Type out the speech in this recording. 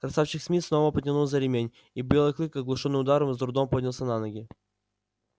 красавчик смит снова потянул за ремень и белый клык оглушённый ударом с трудом поднялся на ноги